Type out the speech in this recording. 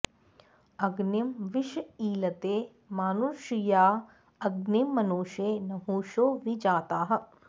अग्निं विश ईळते मानुषीर्या अग्निं मनुषो नहुषो वि जाताः